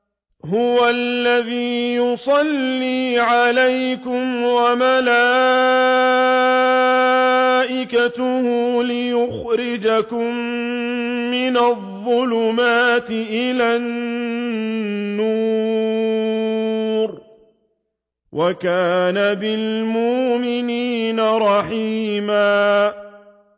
هُوَ الَّذِي يُصَلِّي عَلَيْكُمْ وَمَلَائِكَتُهُ لِيُخْرِجَكُم مِّنَ الظُّلُمَاتِ إِلَى النُّورِ ۚ وَكَانَ بِالْمُؤْمِنِينَ رَحِيمًا